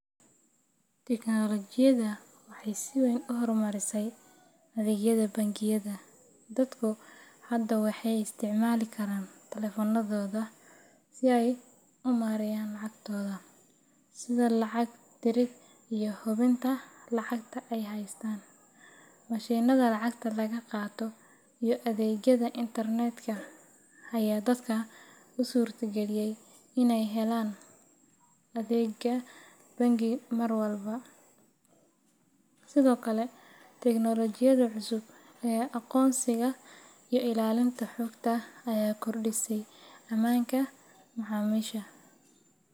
Tiknoolajiyada waxay si weyn u horumarisay adeegyada bangiyada. Dadku hadda waxay isticmaali karaan taleefannadooda si ay u maareeyaan lacagtooda, sida lacag dirid iyo hubinta lacagta ay haystaan. Mashiinnada lacagta laga qaato iyo adeegyada internetka ayaa dadka u suurtagaliyay inay helaan adeegyo bangi mar walba. Sidoo kale, tiknoolajiyada cusub ee aqoonsiga iyo ilaalinta xogta ayaa kordhisay ammaanka macaamiisha